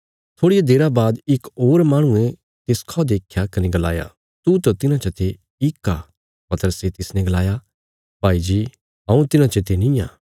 थोड़िया देरा बाद इक होर माहणुये तिसखा देख्या कने गलाया तू त तिन्हां चा ते इक आ पतरसे तिसने गलाया भाई जी हऊँ तिन्हां चते निआं